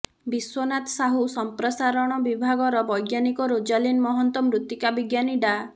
ବିଶ୍ୱନାଥ ସାହୁ ସଂପ୍ରସାରଣ ବିଭାଗର ବୈଜ୍ଞାନିକ ରୋଜାଲିନ୍ ମହନ୍ତ ମୃତ୍ତିକା ବିଜ୍ଞାନୀ ଡା